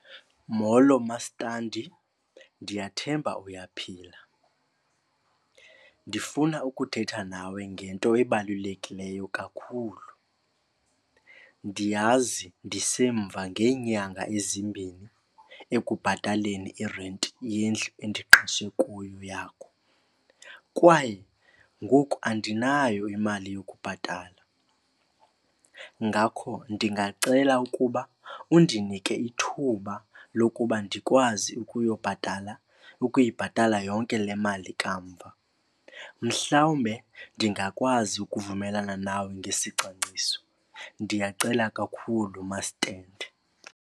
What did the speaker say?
Molo mastandi, ndiyathemba uyaphila. Ndifuna ukuthetha nawe ngento ebalulekileyo kakhulu. Ndiyazi ndisemva ngeenyanga ezimbini ekubhataleni irenti yendlu endiqashe kuyo yakho kwaye ngoku andinayo imali yokubhatala. Ngakho ndingacela ukuba undinike ithuba lokuba ndikwazi ukuyobhatala ukuyibhatala yonke le mali kamva. Mhlawumbe ndingakwazi ukuvumelana nawe ngesicwangciso. Ndiyacela kakhulu masitendi.